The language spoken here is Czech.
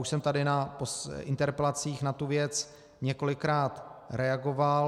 Už jsem tady na interpelacích na tu věc několikrát reagoval.